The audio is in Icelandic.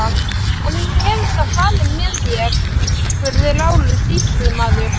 En hún hefur samt farið með þér, spurði Lárus sýslumaður.